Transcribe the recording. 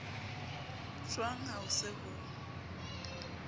jwang ha ho se ho